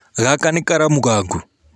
Gaka nĩ karamu gaku?